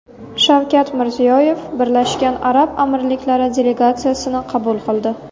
Shavkat Mirziyoyev Birlashgan Arab Amirliklari delegatsiyasini qabul qildi.